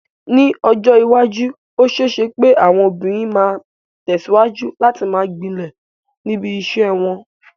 Ní ọjọ́ iwájú, ó ṣeé ṣe pé àwọn obìnrin máa tẹ̀síwájú láti máa gbilẹ̀ níbi iṣẹ́ wọn.